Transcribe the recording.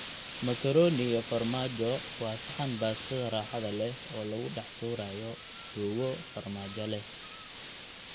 Macaroni iyo farmaajo waa saxan baastada raaxada leh oo lagu dhex tuuray suugo farmaajo leh.